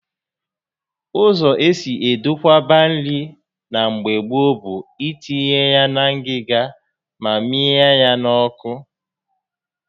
Ụzọ esi edokwaba nri na mgbe gboo bụ itinye na ngịga ma ịmịnye ya n'ọkụ